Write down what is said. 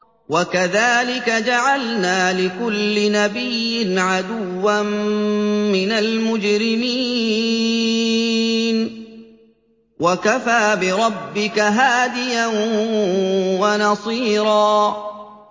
وَكَذَٰلِكَ جَعَلْنَا لِكُلِّ نَبِيٍّ عَدُوًّا مِّنَ الْمُجْرِمِينَ ۗ وَكَفَىٰ بِرَبِّكَ هَادِيًا وَنَصِيرًا